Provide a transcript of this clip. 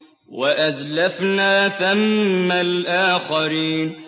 وَأَزْلَفْنَا ثَمَّ الْآخَرِينَ